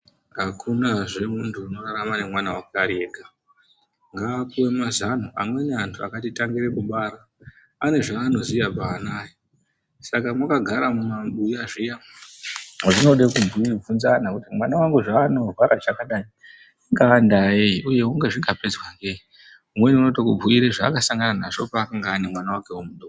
Hakunazve muntu unorarama nemwana wake ari ega. Ngaapuwe mazano. Amweni antu akatitangire kubara, ane zvaanoziya paana aya. Saka mwakagara mumabuya zviya, zvinode kubvunzana kuti: Mwana wangu haanorwara chakadai, ingaa ndaa yei uye unga.. zvingapedzwa ngei? Umweni unotokubhuyire zvaakasangana nazvo paakanga ane mwana wakewo mudoko.